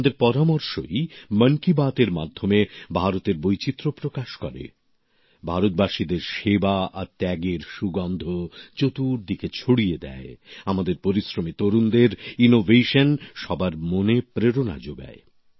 আপনাদের পরামর্শই মন কি বাত এর মাধ্যমে ভারতের বৈচিত্র প্রকাশ করে ভারতবাসীদের সেবা আর ত্যাগের সুগন্ধ চতুর্দিকে ছড়িয়ে দেয় আমাদের পরিশ্রমী তরুণদের উদ্ভাবন সবার মনে প্রেরণা যোগায়